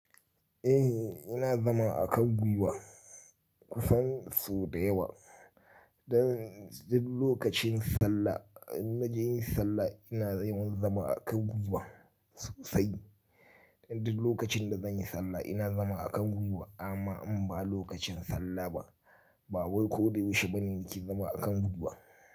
Eh, ina zama a kan gwiwa kusan sau da yawa. Dan duk lokacin sallah, in na je yin sallah ina yawan zama a kan gwiwa sosai. Duk lokacin da zan yi sallah ina zama a kan gwiwa. Amma in ba lokacin sallah ba, ba wai ko da yaushe bane in ke zama a kan gwiwa.